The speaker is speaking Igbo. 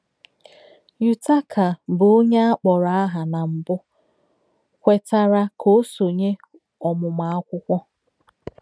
Yutaka, bụ́ onye a kpọrọ aha na mbụ, kwetara ka o sonye ọmụmụ akwụkwọ.